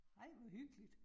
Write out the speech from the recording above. Ej, hvor hyggeligt